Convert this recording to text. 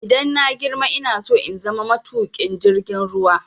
Idan na girma ina so in zama matuƙin jirgin ruwa.